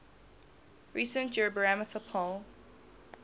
recent eurobarometer poll